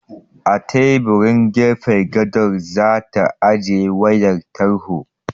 A teburin gefen gado za ta ajiye wayar tarho.